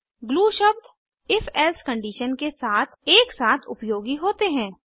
glue शब्द if else condition के साथ एक साथ उपयोगी होते हैं